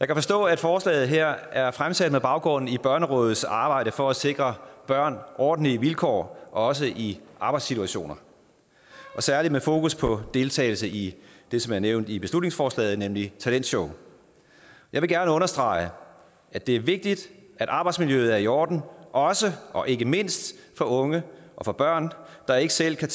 kan forstå at forslaget her er fremsat med baggrund i børnerådets arbejde for at sikre børn ordentlige vilkår også i arbejdssituationer og særlig med fokus på deltagelse i det som er nævnt i beslutningsforslaget nemlig talentshow jeg vil gerne understrege at det er vigtigt at arbejdsmiljøet er i orden også og ikke mindst for unge og for børn der ikke selv kan